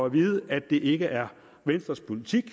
at vide at det ikke er venstres politik